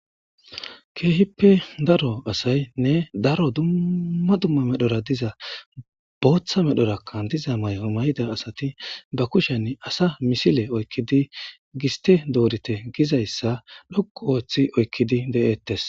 Keehippe daro asaynne daro dumma dumma medhora diza booththa medhorakkan diza may'o may'ida asati ba kushen asa misile oykkidi giste doorite gizayssa dhokku ooththi oykkidi de'eettes.